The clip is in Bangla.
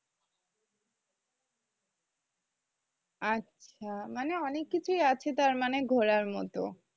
আচ্ছা মানে অনেককিছুই আছে তাহলে ঘোরার মতো।